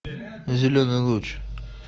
зеленый луч